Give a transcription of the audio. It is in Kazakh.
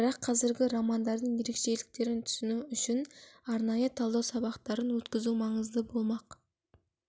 бірақ қазіргі романдардың ерекшеліктерін түсіну үшін арнайы талдау сабақтарын өткізу маңызды болмақ